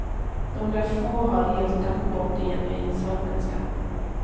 Några få har helt tappat bort det genuint sörmländska.